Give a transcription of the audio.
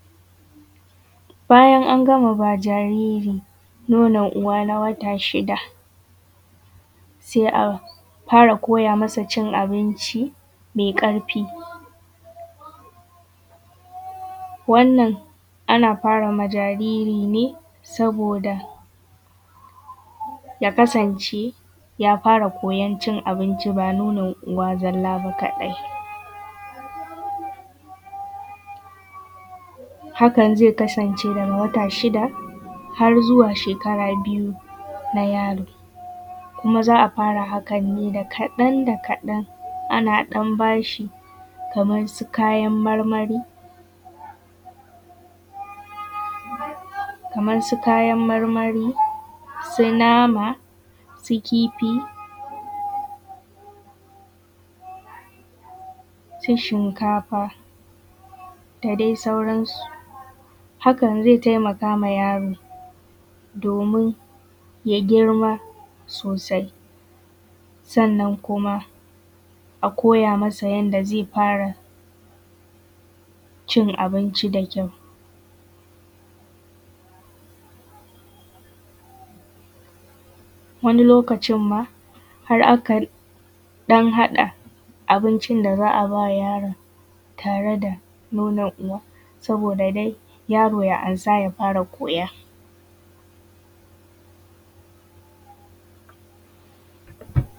Bayan an gama ba jariri nonon uwa na wata shida, sai a fara koya masa cin abinci mai ƙarfi. Wannan ana fara ma jariri ne saboda ya kasance ya fara koyon cin abinci ba nonon uwa zalla ba kaɗai. Hakan zai kasance daga wata shida har zuwa shekara biyu na yaron. Kuma za fara hakan ne da kaɗan da kaɗan, ana ɗan bashi kamar su kayan marmari, su nama, su kifi, su shinkafa, da dai sauran su. Hakan zai taimakawa yaron, domin ya girma sosai. Sannan kuma a koya masa yadda zai fara cin abinci da kyau, wani lokacin ma har akan ɗan haɗa abuncin da za a bawa yaron tare da nonon uwa saboda dai yaro ya amsa ya fara koya.